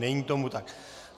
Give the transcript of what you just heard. Není tomu tak.